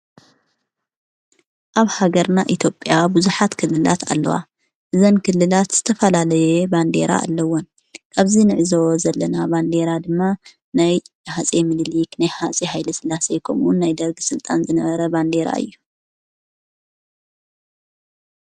ኣብ ሃገርና ኢትዮጽያ ብዙኃት ክልላት ኣለዋ እዘን ክልላት ዝተፋላለየ ባንዴራ ኣለውን ኣብዚ ንዕዞ ዘለና ባንዴራ ድማ ናይ ሓጺየ ምልል ኽነይ ሓጺ ሓይለ ሥላሰየኮምውን ናይ ደርጊ ሥልጣን ዝነበረ ባንዴራ እዩ።